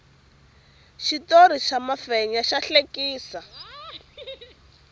xitori xa mafenya xa hlekisa